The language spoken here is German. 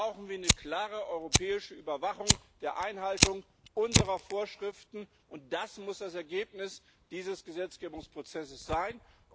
Deswegen brauchen wir eine klare europäische Überwachung der Einhaltung unserer Vorschriften, und das muss das Ergebnis dieses Gesetzgebungsprozesses sein.